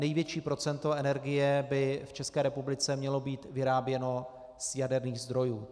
Největší procento energie by v České republice mělo být vyráběno z jaderných zdrojů.